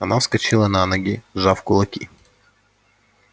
она вскочила на ноги сжав кулаки